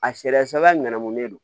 A sariya sɔba ɲɛnamunen don